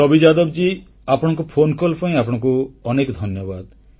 ଛବି ଯାଦବ ଜୀ ଆପଣଙ୍କ ଫୋନକଲ୍ ପାଇଁ ଆପଣଙ୍କୁ ଅନେକ ଧନ୍ୟବାଦ